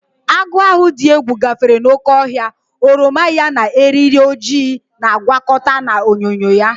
Agụ ahụ dị egwu gafere n'oké ọhịa, oroma ya na eriri ojii na-agwakọta na onyinyo ya.